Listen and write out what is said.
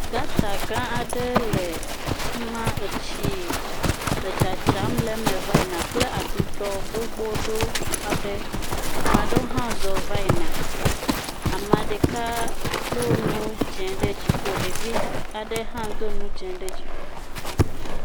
Gata gã aɖe le afi ma, etsi le tsatsam le me va yina kple aɖuɖɔ gbogbo aɖe, ame aɖewo hã zɔ hã zɔ va yina, ame ɖeka do nu dze ɖe dziƒo, ɖevi aɖe hã do nu dze ɖe dziƒo.